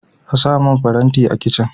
Ana samun faranti a kicin.